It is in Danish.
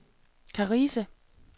Karise